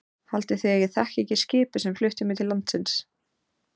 Haldið þið að ég þekki ekki skipið sem flutti mig til landsins.